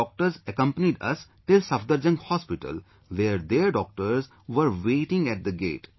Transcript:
Doctors accompanied us till Safdarjung Hospital where their doctors were waiting at the gate